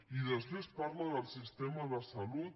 i després parla del sistema de salut